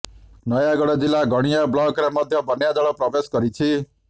ନୟାଗଡ଼ ଜିଲ୍ଲା ଗଣିଆ ବ୍ଲକରେ ମଧ୍ୟ ବନ୍ୟାଜଳ ପ୍ରବେଶ କରିଛି